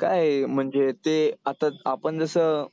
काय म्हणजे ते आता आपण जसं